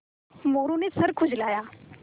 मोरू ने सर खुजलाया